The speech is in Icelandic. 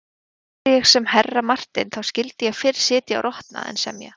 Væri ég sem herra Marteinn þá skyldi ég fyrr sitja og rotna en semja.